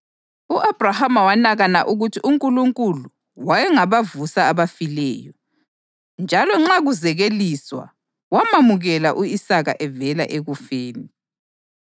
U-Abhrahama wanakana ukuthi uNkulunkulu wayengabavusa abafileyo, njalo nxa kuzekeliswa, wamamukela u-Isaka evela ekufeni.